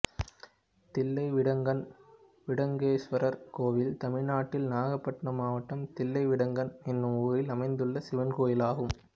தில்லைவிடங்கன் விடங்கேஸ்வரர் கோயில் தமிழ்நாட்டில் நாகபட்டினம் மாவட்டம் தில்லைவிடங்கன் என்னும் ஊரில் அமைந்துள்ள சிவன் கோயிலாகும்